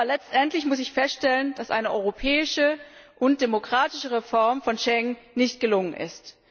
Aber letztendlich muss ich feststellen, dass eine europäische und demokratische Reform von Schengen nicht gelungen ist.